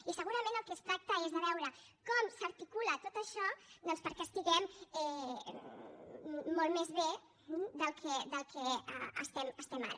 i segurament del que es tracta és de veure com s’articula tot això doncs perquè estiguem molt més bé del que estem ara